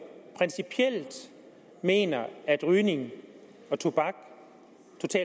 principielt mener at rygning og tobak